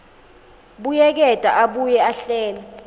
buyeketa abuye ahlele